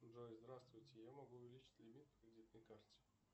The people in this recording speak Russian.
джой здравствуйте я могу увеличь лимит по кредитной карте